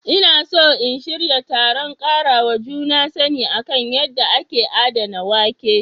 Ina so in shirya taron karawa juna sani kan yadda ake adana wake.